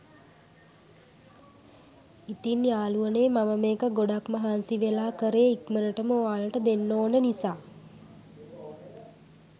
ඉතින් යාළුවනේ මම මේක ගොඩක් මහන්සි වෙලා කරේ ඉක්මනටම ඔයාලට දෙන්න ඔන නිසා.